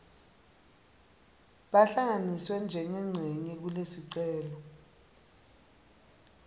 bahlanganiswe njengencenye kulesicelo